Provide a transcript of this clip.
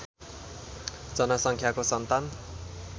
जनसङ्ख्याको सन्तान